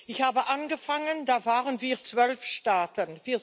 Ich habe angefangen, da waren wir 12 Staaten